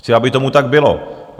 Chci, aby tomu tak bylo.